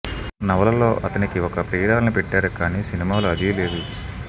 నవలలో అతనికి ఒక ప్రియురాలిని పెట్టారు కానీ సినిమాలో అదీ లేదు